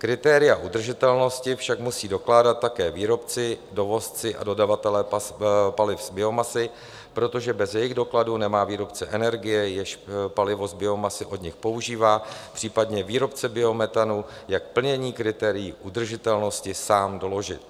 Kritéria udržitelnosti však musí dokládat také výrobci, dovozci a dodavatelé paliv z biomasy, protože bez jejich dokladů nemá výrobce energie, jenž palivo z biomasy od nich používá, případně výrobce biometanu, jak plnění kritérií udržitelnosti sám doložit.